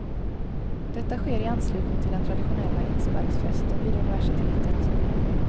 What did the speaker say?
Detta sker i anslutning till den traditionella insparksfesten vid universitetet.